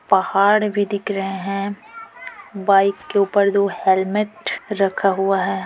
पहाड़ भी दिख रहे है बाइक के ऊपर दो हेलमेट रखा हुआ है।